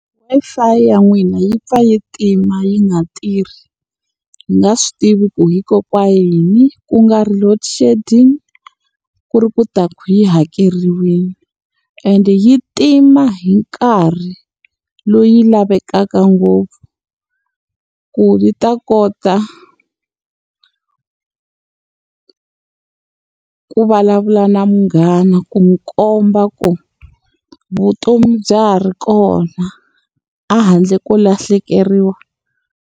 Wi-Fi ya n'wina yi pfa yi tima yi nga tirhi, hi nga swi tivi ku hikokwalaho ka yini. Ku nga ri load shedding, ku ri ku ta yi hakeriwile. Ende yi tima hi nkarhi lowu yi lavekaka ngopfu, ku yi ta kota ku vulavula na munghana ku n'wi komba ku vutomi bya ha ri kona a handle ko lahlekeriwa.